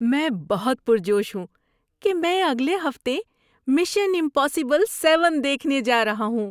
میں بہت پرجوش ہوں کہ میں اگلے ہفتے مشن امپاسبل سیون دیکھنے جا رہا ہوں۔